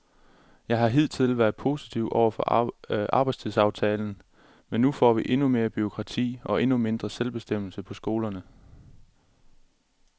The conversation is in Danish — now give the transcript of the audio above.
Jeg har hidtil været positiv over for arbejdstidsaftalen, men nu får vi endnu mere bureaukrati og endnu mindre selvbestemmelse på skolerne.